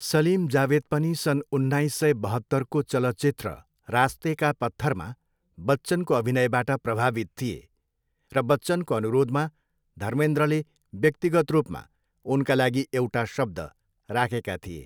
सलिम जावेद पनि सन् उन्नाइस सय बहत्तरको चलचित्र रास्ते का पत्थरमा बच्चनको अभिनयबाट प्रभावित थिए र बच्चनको अनुरोधमा धर्मेन्द्रले व्यक्तिगत रूपमा उनका लागि एउटा शब्द राखेका थिए।